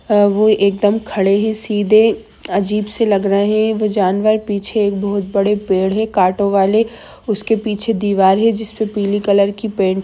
अ वो एकदम खड़े है सीधे अजीब से लग रहे है वो जानवर पीछे एक बोहोत बड़े पेड़ है काँटों वाले उसके पीछे दीवार है जिस पे पीले कलर की पैंट --